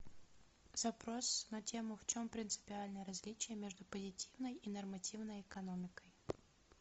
запрос на тему в чем принципиальное различие между позитивной и нормативной экономикой